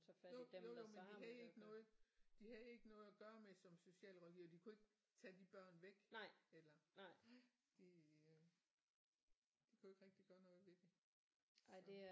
Jo jo jo men de havde ikke noget de havde ikke noget at gøre med det som socialrådgivere de kunne ikke tage de børn væk eller nej de de kunne ikke rigtig gøre noget ved det så